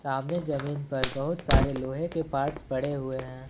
सामने जमीन पर बहुत सारे लोहे के पार्ट्स पड़े हुए हैं।